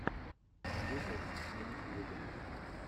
гугл на ютьюбе